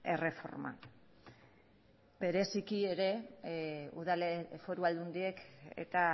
erreforma bereziki foru aldundiek eta